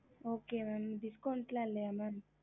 okey mam Discount இல்லையா mam